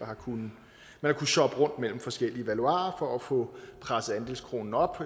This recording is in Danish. har kunnet shoppe rundt mellem forskellige valuarer for at få presset andelskronen op